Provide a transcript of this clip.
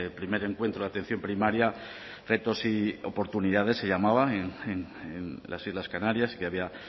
primer encuentro de atención primaria retos y oportunidades se llamaba en las islas canarias que había